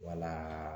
Wala